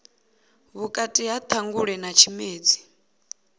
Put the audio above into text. vhukati ha ṱhangule na tshimedzi